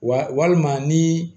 Wa walima ni